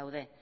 daude